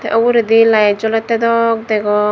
te uredi light jolette dok degong.